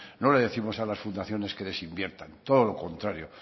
no le décimos a las fundaciones que desinviertan todo lo contario